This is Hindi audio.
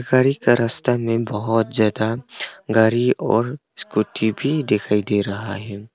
गारी का रास्ता में बहोत ज्यादा गारी और स्कूटी भी दिखाई दे रहा है।